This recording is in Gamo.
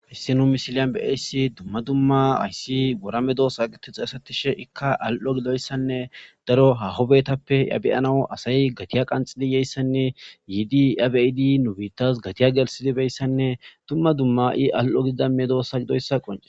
Hissinu misiliyan be eyssi dumma dumma ayssi gora medo saaqiti xasetishe ikka al'o giloyssanne daro ha hobetappe yabeyanawu asayi gatiya qanxiliyeyssanne yiidi abyidi nubiitas gatiya gelsidibeyssanne dumma dumma i al'o giida medosa gidoyssa qonces.